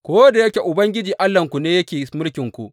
Ko da yake Ubangiji Allahnku ne yake mulkinku.